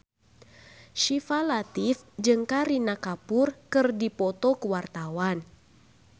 Syifa Latief jeung Kareena Kapoor keur dipoto ku wartawan